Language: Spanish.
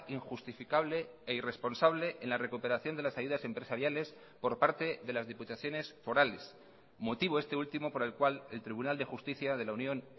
injustificable e irresponsable en la recuperación de las ayudas empresariales por parte de las diputaciones forales motivo este ultimo por el cual el tribunal de justicia de la unión